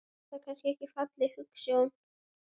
Er það kannski ekki falleg hugsjón?